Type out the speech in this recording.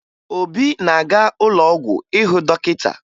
Obi na-aga ụlọ ọgwụ ịhụ dọkịta